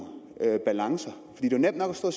balancer det er jo nemt nok at stå